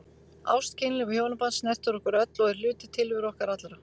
Ást, kynlíf og hjónaband snertir okkur öll og er hluti tilveru okkar allra.